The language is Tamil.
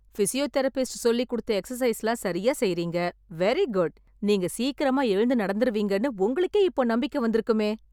பிஸியோதெரபிஸ்ட் சொல்லிக்குடுத்த எக்ஸர்சைஸ்லாம் சரியா செய்றீங்க... வெரிகுட். நீங்க சீக்கிரமா எழுந்து நடந்துருவீங்கன்னு உங்களுக்கே இப்போ நம்பிக்கை வந்துருக்குமே.